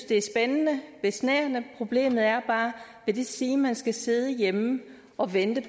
det er spændende besnærende problemet er bare vil det sige at man skal sidde hjemme og vente